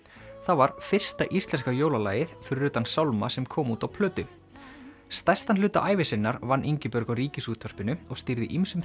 það var fyrsta íslenska jólalagið fyrir utan sálma sem kom út á plötu stærstan hluta ævi sinnar vann Ingibjörg á Ríkisútvarpinu og stýrði ýmsum